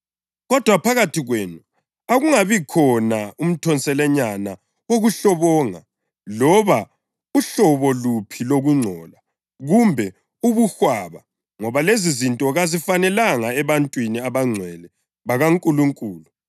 Kodwa phakathi kwenu Akungabikhona umthonselanyana wokuhlobonga loba uhlobo luphi lokungcola kumbe ubuhwaba ngoba lezizinto kazifanelanga ebantwini abangcwele bakaNkulunkulu.